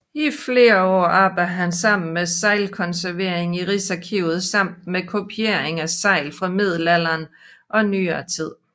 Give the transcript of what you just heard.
I flere år arbejdede han med seglkonservering i Riksarkivet samt med kopiering af segl fra middelalderen og nyere tid